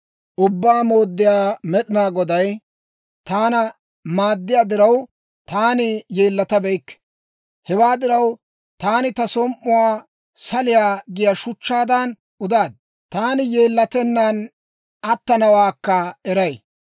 Ubbaa Mooddiyaa Med'inaa Goday taana maaddiyaa diraw, taani yeellatabeykke; hewaa diraw, taani ta som"uwaa saliyaa giyaa shuchchaadan udaad. Taani yeellatennaan attanawaakka eray.